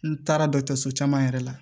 N taara dɔkitɛriso caman yɛrɛ la